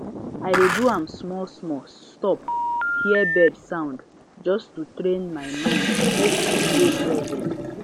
i dey do am smallsmall stop hear bird sound just to train my mind mek e dey present